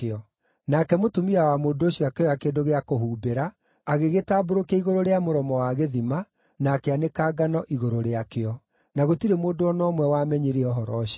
Nake mũtumia wa mũndũ ũcio akĩoya kĩndũ gĩa kũhumbĩra, agĩgĩtambũrũkia igũrũ rĩa mũromo wa gĩthima, na akĩanĩka ngano igũrũ rĩakĩo. Na gũtirĩ mũndũ o na ũmwe wamenyire ũhoro ũcio.